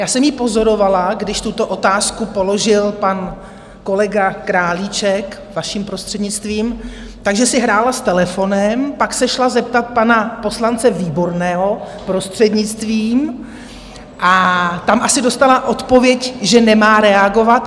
Já jsem ji pozorovala, když tuto otázku položil pan kolega Králíček, vaším prostřednictvím, takže si hrála s telefonem, pak se šla zeptat pana poslance Výborného, prostřednictvím, a tam asi dostala odpověď, že nemá reagovat.